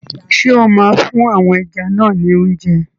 Ṣé o máa fún àwọn ẹja náà ni óúnjẹ?